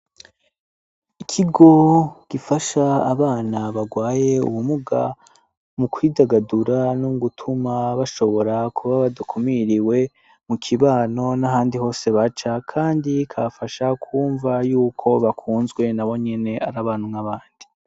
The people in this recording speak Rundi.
Ikigo gifasha abana bagwaye ubumuga mu kwidagadura no gutuma bashobora kuba badukumiriwe mu kibano n'ahandi hose baca, kandi kafasha kwumva yuko bakunzwe na bo nyene ari abanwaabandi.